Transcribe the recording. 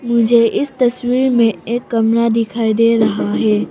मुझे इस तस्वीर में एक कमरा दिखाई दे रहा है।